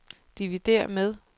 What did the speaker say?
dividér med